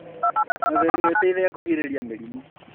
Na ũtheru nĩ ũteithagia kũgirĩrĩria mĩrimũ